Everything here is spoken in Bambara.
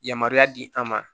Yamaruya di an ma